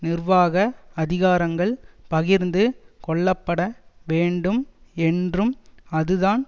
நிர்வாக அதிகாரங்கள் பகிர்ந்து கொள்ளப்பட வேண்டும் என்றும் அதுதான்